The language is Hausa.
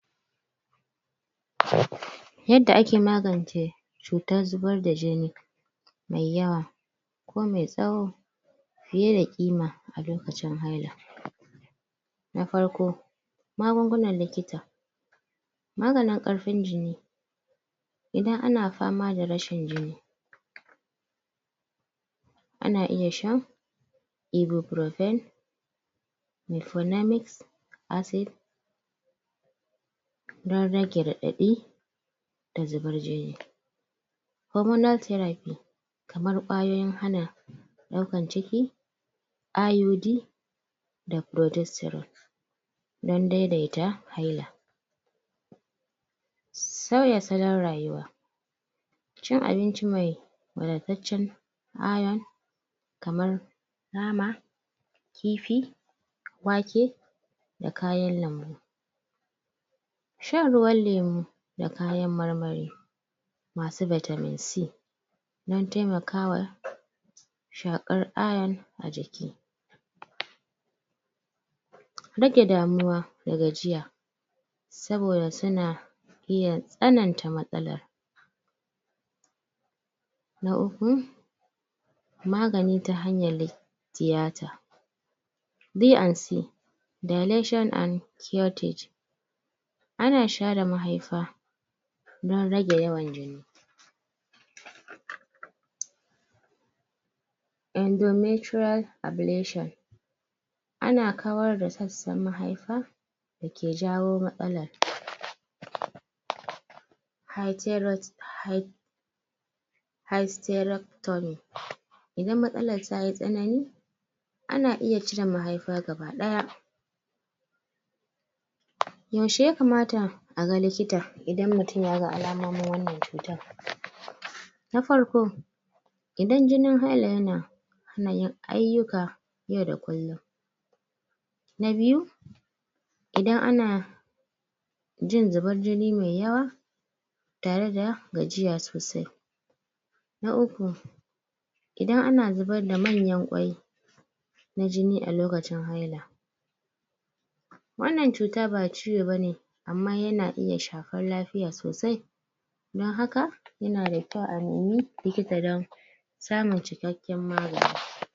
Yadda ake magance cutar zubar da jini mai yawa ko mai tsawo fiye da ƙima a lokacin haila na farko magungunan likita maganin ƙarfin jini idan ana fama da rashin jini ana iya sha ibuprofen? acic don rage raɗaɗi da zubar jini hormonal therapy kamar ƙwayoyin hana ɗaukan ciki?? don daidaita haila sauya salon rayuwa cin abinci mai wadataccen iron kamar nama kifi wake da kayan lambu shan ruwan lemu da kayan marmari masu vitamin c don taimakawa shakar iron a jiki rage damuwa da gajiya saboda suna iya tsananta matsalar na uku magani ta hanyar tiyata D&C Dilation and? ana share mahaifa don rage yawan jini? ana kawar da sassan mahaifa dake jawo matsalar?? idan matsalar tayi tsanani ana iya cire mahaifa gaba ɗaya yaushe ya kamata a ga likita idan mutum ya ga alamomin wannan cutan na farko idan jinin haika yana? yau da kullum na biyu idan ana in zubar jini mai yawa tare da gajiya sosai na uku idan ana zubar da manyan ƙwai na jini a lokacin haila wannan cuta ba ciwo bane amma yana iya shafar lafiya sosai don haka yana da kyau a nemi likita don samun cikkaken magani.